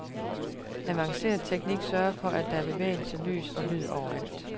Avanceret teknik sørger for, at der er bevægelse, lys og lyd overalt.